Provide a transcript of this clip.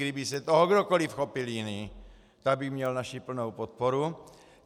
Kdyby se toho kdokoliv chopil jiný, tak by měl naši plnou podporu.